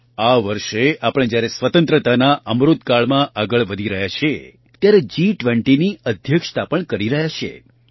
આ વર્ષે આપણે જ્યારે સ્વતંત્રતાના અમૃતકાળમાં આગળ વધી રહ્યા છીએ ત્યારે જી૨૦ની અધ્યક્ષતા પણ કરી રહ્યા છીએ